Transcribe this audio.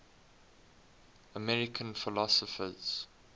american philosophers